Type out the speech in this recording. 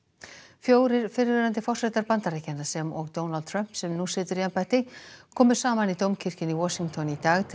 fjórir fyrrverandi forsetar Bandaríkjanna sem og Donald Trump sem nú situr í embætti komu saman í Dómkirkjunni í Washington í dag til